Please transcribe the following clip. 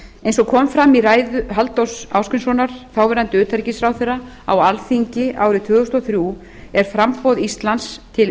eins og kom fram í ræðu halldórs ásgrímssonar þáverandi utanríkisráðherra á alþingi árið tvö þúsund og þrjú er framboð íslands til